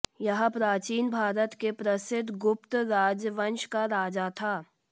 यह प्राचीन भारत के प्रसिद्ध गुप्त राजवंश का राजा था